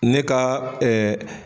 Ne ka